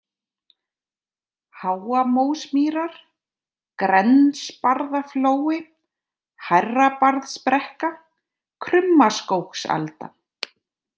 Háamósmýrar, Grensbarðaflói, Hærrabarðsbrekka, Krummaskógsalda